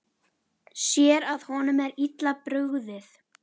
Sér að honum er illa brugðið.